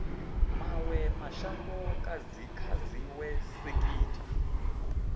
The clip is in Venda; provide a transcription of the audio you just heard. mawe mashango kha dziwe sekitha